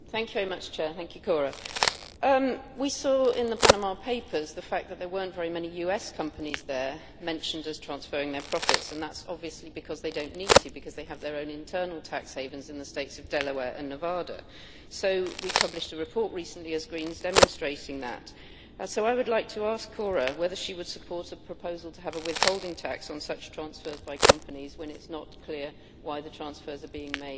We saw in the Panama papers that there were not very many US companies there mentioned as transferring their profits, and that is obviously because they do not need to because they have their own internal tax havens in the states of Delaware and Nevada. We as Greens published a report recently demonstrating that, so I would like to ask Cora whether she would support a proposal to have a withholding tax on such transfers by companies when it is not clear why the transfers are being made and what the implications are in terms of tax.